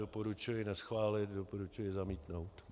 Doporučuji neschválit, doporučuji zamítnout.